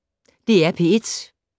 DR P1